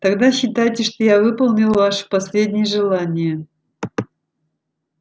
тогда считайте что я выполнил ваше последнее желание